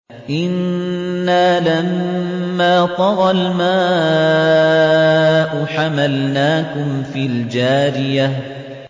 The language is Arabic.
إِنَّا لَمَّا طَغَى الْمَاءُ حَمَلْنَاكُمْ فِي الْجَارِيَةِ